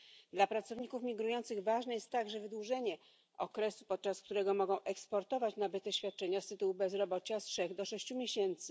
Dla pracowników migrujących ważne jest także wydłużenie okresu, podczas którego mogą eksportować nabyte świadczenia z tytułu bezrobocia z trzech do sześciu miesięcy.